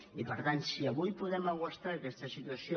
i per tant si avui podem aguantar aquesta situació